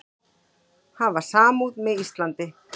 Hafa samúð með Íslandi